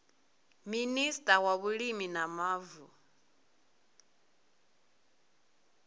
minista wa vhulimi na mavu